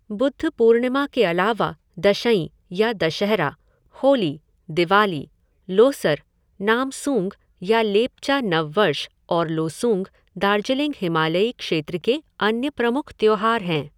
बुद्ध पूर्णिमा के अलावा दशईं या दशहरा, होली, दिवाली, लोसर, नामसूंग या लेपचा नव वर्ष और लोसूंग दार्जिलिंग हिमालयी क्षेत्र के अन्य प्रमुख त्योहार हैं।